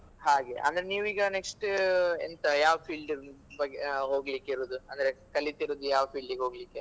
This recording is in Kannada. ಹಾಗೆ ಅಂದ್ರೆ ನೀವೀಗ next ಎಂತ ಯಾವ್ field ಬ ಹೋಗ್ಲಿಕ್ ಇರುದು ಅಂದ್ರೆ ಕಲಿತಿರೋದ್ ಯಾವ್ field ಇಗ್ ಹೋಗ್ಲಿಕ್ಕೆ.